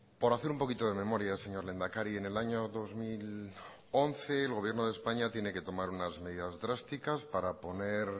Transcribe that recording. por hacer un poquito de memoria señor lehendakari en el año dos mil once el gobierno de españa tiene que tomar unas medidas drásticas para poner